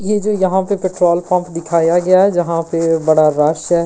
ये जो यहां पे पेट्रोल पंप दिखाया गया है जहां पे बड़ा रश है।